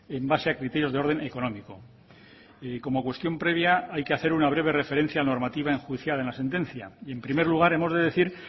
en base a criterios de orden económico y como cuestión previa hay que hacer una breve referencia normativa enjuiciada en la sentencia y en primer lugar hemos de decir